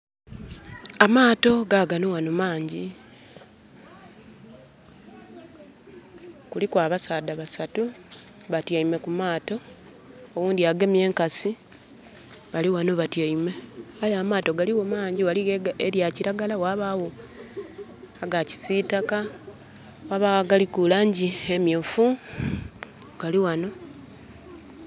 Amaato gagano ghano mangyi. Kuliku abasaadha basatu batyaime ku maato. Oghundhi agemye enkasi, bali ghano batyaime. Aye amaato ghaligho mangyi. Ghaligho elya kiragala, ghabagho aga kisiitaka, ghabagho agaliku laangi emyuufu. Gali ghano...